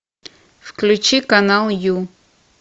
включи канал ю